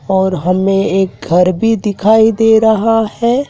और हमें एक घर भी दिखाई दे रहा हैं।